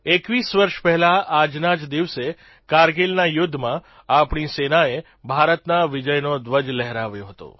21 વર્ષ પહેલાં આજના જ દિવસે કારગીલના યુદ્ધમાં આપણી સેનાએ ભારતના વિજયનો ધ્વજ લહેરાવ્યો હતો